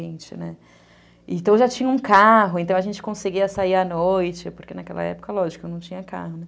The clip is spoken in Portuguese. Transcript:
Então, eu já tinha um carro, então a gente conseguia sair à noite, porque naquela época, lógico, eu não tinha carro, né?